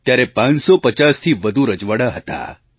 ત્યારે 550થી વધુ રજવાડાં હતાં